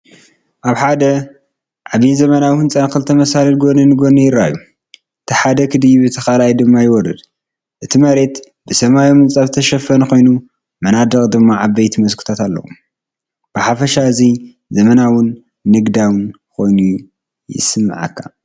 ኣብ ሓደ ዓቢን ዘመናውን ህንጻ ክልተ መሳልል ጎኒ ንጎኒ ይረኣዩ። እቲ ሓደ ክድይብ እቲ ካልኣይ ድማ ይወርድ። እቲ መሬት ብሰማያዊ ምንጻፍ ዝተሸፈነ ኮይኑ፡ መናድቕ ድማ ዓበይቲ መስኮታት ኣለዎ። ብሓፈሻ እዚ ዘመናውን ንግዳዊን ኮይኑ ይስምዓካ።